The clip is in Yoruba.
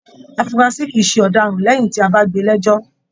Afurasi kìí ṣe ọdaràn lẹyìn tí a bá gbé lẹjọ.